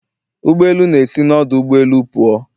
Ụgbọ elu na-esi n'ọdụ ụgbọ elu pụọ